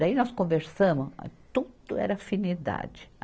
Daí nós conversamos, tudo era afinidade.